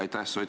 Aitäh!